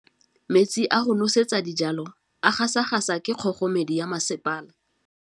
Metsi a go nosetsa dijalo a gasa gasa ke kgogomedi ya masepala.